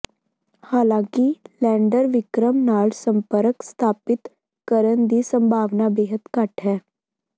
ਹਾਲਾਂਕਿ ਲੈਂਡਰ ਵਿਕਰਮ ਨਾਲ ਸੰਪਰਕ ਸਥਾਪਿਤ ਕਰਨ ਦੀ ਸੰਭਾਵਨਾ ਬੇਹੱਦ ਘੱਟ ਹੈ